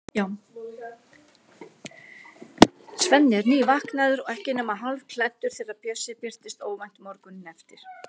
Svenni er nývaknaður og ekki nema hálfklæddur þegar Bjössi birtist óvænt morguninn eftir.